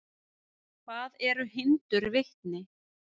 Hvað eru hindurvitni?